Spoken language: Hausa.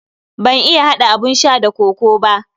Ban iya hada abun sha da kokoo ba.